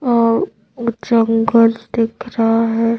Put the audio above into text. और जंगल दिख रहा है।